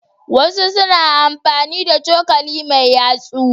Wasu na amfani da cokali mai yatsu.